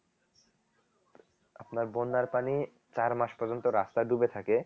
আপনার বন্যার পানি চার মাস পর্যন্ত রাস্তা ডুবে থাকে